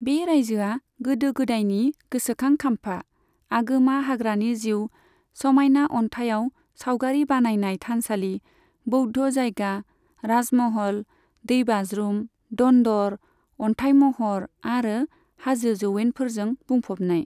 बे रायजोआ गोदो गोदायनि गोसोखां खाम्फा, आगोमा हाग्रानि जिउ, समायना अनथाइयाव सावगारि बानायनाय थानसालि, बौद्ध जायगा, राजमहल, दैबाज्रुम, दन्दर, अनथाय महर, आरो हाजो जौयेनफोरजों बुंफबनाय।